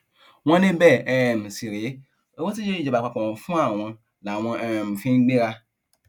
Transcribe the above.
wọn ní bẹẹ um sì rèé owó tíjọba àpapọ ń fún àwọn làwọn um fi ń gbéra